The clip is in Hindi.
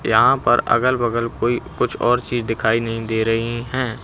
यहां पर अगल बगल कोई कुछ और चीज दिखाई नहीं दे रही हैं।